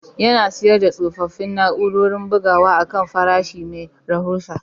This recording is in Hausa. Yana siyar da tsofaffin na'urorin bugawa akan farashi mai rahusa